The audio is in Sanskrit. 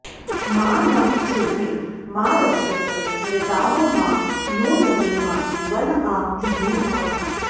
मा नः क्षुधे मा रक्षस ऋतावो मा नो दमे मा वन आ जुहूर्थाः